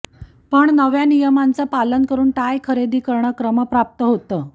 पण नव्या नियमांचं पालन करून टाय खरेदी करणे क्रमप्राप्त होतं